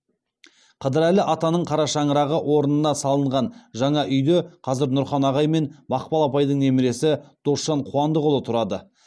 қыдырәлі атаның қара шаңырағы орнына салынған жаңа үйде қазір нұрхан ағай мен мақпал апайдың немересі досжан қуандықұлы тұрады